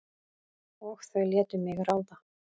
Og þau létu mig ráða.